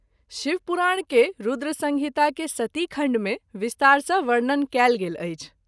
शिव पुराण के रूद्रसंहिता के सतीखण्ड मे विस्तार सँ वर्णन कएल गेल अछि।